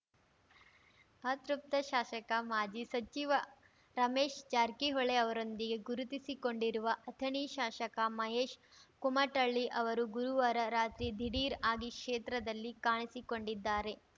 ಅತೃಪ್ತ ಶಾಸಕ ಮಾಜಿ ಸಚಿವ ರಮೇಶ್‌ ಜಾರಕಿಹೊಳಿ ಅವರೊಂದಿಗೆ ಗುರುತಿಸಿಕೊಂಡಿರುವ ಅಥಣಿ ಶಾಸಕ ಮಹೇಶ್‌ ಕುಮಟಳ್ಳಿ ಅವರು ಗುರುವಾರ ರಾತ್ರಿ ದಿಢೀರ್‌ ಆಗಿ ಕ್ಷೇತ್ರದಲ್ಲಿ ಕಾಣಿಸಿಕೊಂಡಿದ್ದಾರೆ